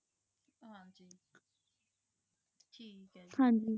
ਹਾਂਜੀ